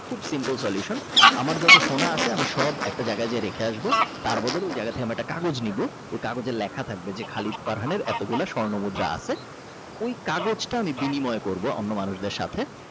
খুব simple Solution আমার যত সোনা আছে সব একটা জায়গায় গিয়ে রেখে আসবো তার বদলে ওই জায়গা থেকে একটা আমরা কাগজ নেব ওই কাগজের লেখা থাকবে যে খালিদ ফারহান এতগুলা স্বর্ণমুদ্রা আছে ওই কাগজটা আমি বিনিময় করব অন্য মানুষদের সাথে।